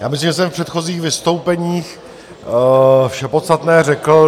Já myslím, že jsem v předchozích vystoupeních vše podstatné řekl.